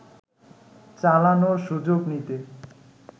চালানোর সুযোগ নিতে